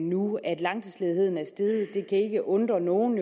nu at langtidsledigheden er steget ikke undre nogen